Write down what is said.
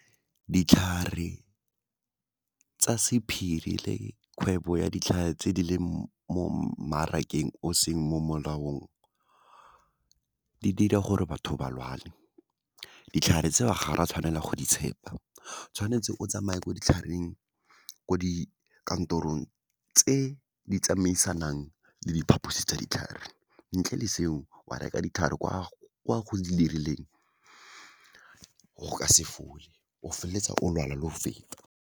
Ditlhare tsa sephiri le kgwebo ya ditlhare tse di leng mo mmarakeng o seng mo molaong, di dira gore batho ba lwale, ditlhare tseo ga ra tshwanela go di tshepa, tshwanetse o tsamaye ko ditlhareng, ko di kantorong tse di tsamaisanang le diphaposi tsa ditlhare. Ntle le seo, wa reka ditlhare kwa go dirileng, go ka se fole, o feleletsa o lwala le go feta.